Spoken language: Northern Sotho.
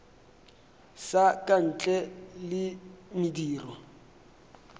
sa ka ntle le mediro